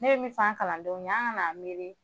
Ne be min fɔ an kalandenw ye an k'an na miiri